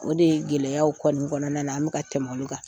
O de ye gɛlɛyaw kɔni kɔnɔna na an be ka tɛmɛ olu kan .